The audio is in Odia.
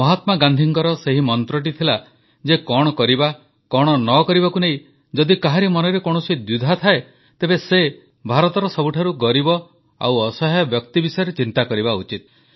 ମହାତ୍ମା ଗାନ୍ଧୀଙ୍କର ସେହି ମନ୍ତ୍ରଟି ଥିଲା ଯେ କଣ କରିବା କଣ ନ କରିବାକୁ ନେଇ ଯଦି କାହାରି ମନରେ କୌଣସି ଦ୍ୱିଧା ଥାଏ ତେବେ ସେ ଭାରତର ସବୁଠାରୁ ଗରିବ ଓ ଅସହାୟ ବ୍ୟକ୍ତି ବିଷୟରେ ଚିନ୍ତା କରିବା ଉଚିତ